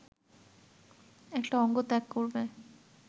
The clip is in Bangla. একটা অঙ্গ ত্যাগ করবে